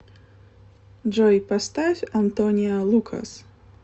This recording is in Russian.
джой поставь антониа лукас